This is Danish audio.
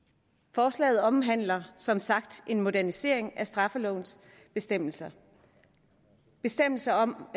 forslaget omhandler som sagt en modernisering af straffelovens bestemmelser bestemmelser om